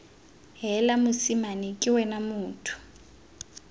heela mosimane ke wena motho